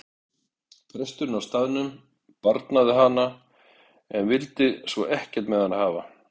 Presturinn á staðnum barnaði hana en vildi svo ekkert með hana hafa.